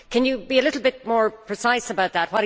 Can you be a little bit more precise about that?